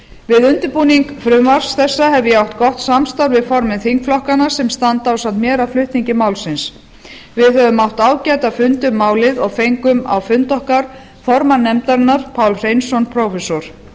við undirbúning frumvarps þessa hef ég átt gott samstarf við formenn þingflokkanna sem standa ásamt mér að flutningi málsins við höfum átt ágæta fundi um málið og fengum á fund okkar formann nefndarinnar pál hreinsson prófessor